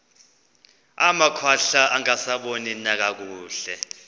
amakhwahla angasaboni nakakuhle